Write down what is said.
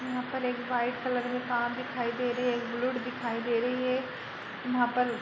यहाँ पर एक वाइट कलर की कार दिखाई दे रही है। एक बुलेट दिखाई दे रही है। यहाँ पर --